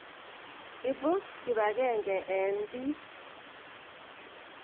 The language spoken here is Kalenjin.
Ipu kipakenge eng' piik.